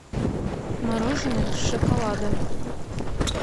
мороженое с шоколадом